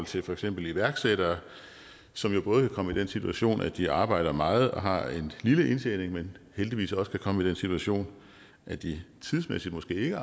til for eksempel iværksættere som jo både kan komme i den situation at de arbejder meget og har en lille indtjening men heldigvis også kan komme i den situation at de tidsmæssigt måske ikke